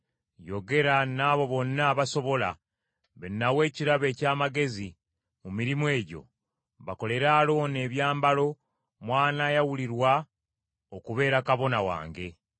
Yogera n’abo bonna abasobola, be nawa ekirabo eky’amagezi mu mirimu egyo, bakolere Alooni ebyambalo mw’anaayawulirwa okubeera kabona wange.